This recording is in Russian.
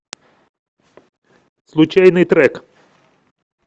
случайный трек